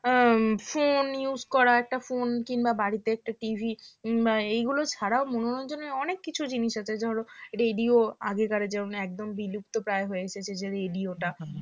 phone use করা একটা phone কিংবা বাড়িতে একটা TV কিংবা এগুলো ছাড়াও মনোরঞ্জন এর অনেক কিছু জিনিস আছে ধরো radio আগেকার যে একদম বিলুপ্তপ্রায় হয়েছে যদিও radio টা